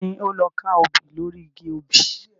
Ta ni ó lọ ka obì lóri igi obì?